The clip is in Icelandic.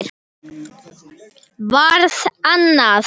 Varð annað.